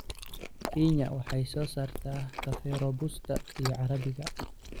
Kenya waxay soo saartaa kafee Robusta iyo Carabiga.